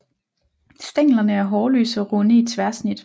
Stænglerne er hårløse og runde i tværsnit